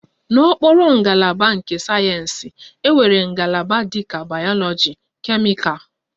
N'okpuru ngalaba nke sayensị, enwere ngalaba dịka bayoloji, kemịkal